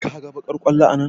Ka ga baƙar ƙwallo a nan?